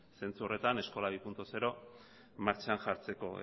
zentzu horretan eskola bi puntu zero martxan jartzeko